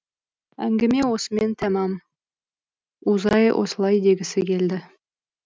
әңгіме осымен тәмам узай осылай дегісі келді